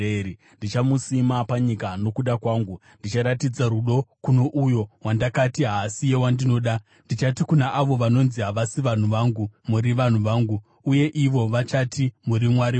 Ndichamusima panyika nokuda kwangu; ndicharatidza rudo kuno uyo wandakati ‘Haasiye wandinoda.’ Ndichati kuna avo vanonzi ‘Havasi vanhu vangu,’ ‘Muri vanhu vangu,’ uye ivo vachati, ‘Muri Mwari wangu.’ ”